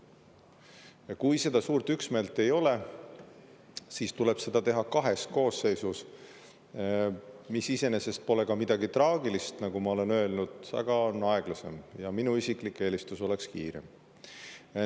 Ja kui seda suurt üksmeelt ei ole, siis tuleb seda teha kahes koosseisus, mis iseenesest pole ka midagi traagilist, nagu ma olen öelnud, aga see on aeglasem ja minu isiklik eelistus oleks kiirem.